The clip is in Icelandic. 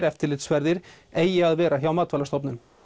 eftirlitsferðir eigi að vera hjá Matvælastofnun